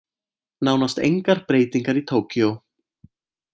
Nánast engar breytingar í Tókýó